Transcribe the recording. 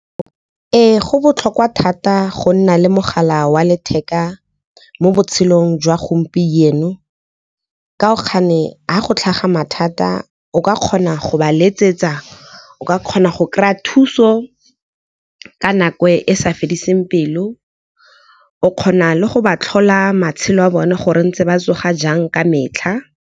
Ee, go botlhokwa thata go nna le mogala wa letheka mo botshelong jwa gompieno. Ha go tlhaga mathata o ka kgona go ba letsetsa, o ka kgona go kry-a thuso ka nako e sa fediseng pelo. O kgona le go ba tlhola matshelo a bone gore ntse ba tsoga jang ka metlha.